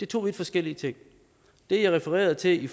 to vidt forskellige ting det jeg refererede til